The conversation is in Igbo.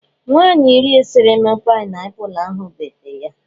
Nwanyị resịrị m paịnapụlụ ahụ bete ya.